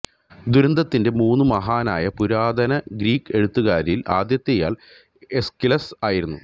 ദുരന്തത്തിന്റെ മൂന്നു മഹാനായ പുരാതന ഗ്രീക്ക് എഴുത്തുകാരിൽ ആദ്യത്തെയാൾ എസ്കിലസ് ആയിരുന്നു